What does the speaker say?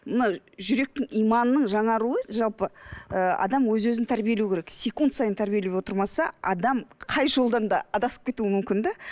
мына жүректің иманның жаңаруы жалпы і адам өз өзін тәрбиелеу керек секунд сайын тәрбиелеп отырмаса адам қай жолдан да адасып кетуі мүмкін де